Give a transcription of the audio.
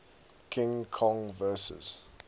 king kong vs